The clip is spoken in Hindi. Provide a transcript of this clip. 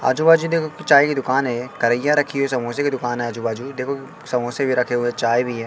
आजू-बाजू देखों चाय की दुकान है कड़हीया रखी है समोसे की दुकान है आजू-बाजू देखो समोसे भी रखे हुए है चाय भी है।